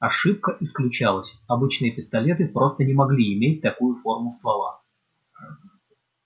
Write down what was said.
ошибка исключалась обычные пистолеты просто не могли иметь такую форму ствола